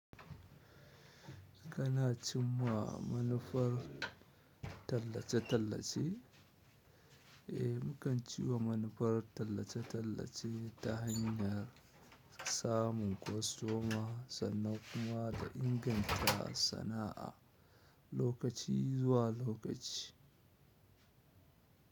Kana cimma manufar tallace-tallace? Eh, mukan ciwa manufar tallace-tallace ta hanyar samun kwastoma sannan kuma da inganta sana'a lokaci zuwa lokaci.